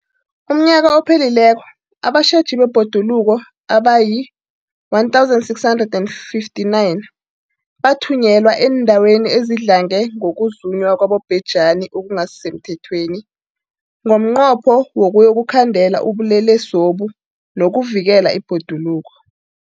UmNnyaka ophelileko abatjheji bebhoduluko abayi-1 659 bathunyelwa eendaweni ezidlange ngokuzunywa kwabobhejani okungasi semthethweni ngomnqopho wokuyokukhandela ubulelesobu nokuvikela ibhoduluko.